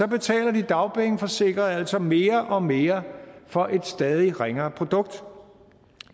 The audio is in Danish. betaler de dagpengeforsikrede altså mere og mere for et stadig ringere produkt